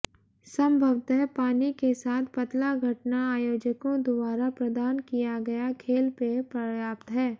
संभवतः पानी के साथ पतला घटना आयोजकों द्वारा प्रदान किया गया खेल पेय पर्याप्त है